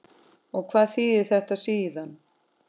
Og hvað þýðir þetta síðan?